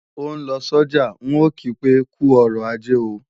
Ó ń lọ sọ́jà, ń ò kí pé "kú ọrọ̀ ajé o"